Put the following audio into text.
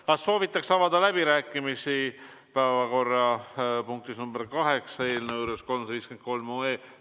Kas soovitakse pidada päevakorrapunktis nr 8 läbirääkimisi eelnõu 353 üle?